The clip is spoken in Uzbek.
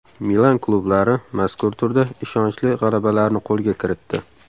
Milan klublari mazkur turda ishonchli g‘alabalarni qo‘lga kiritdi.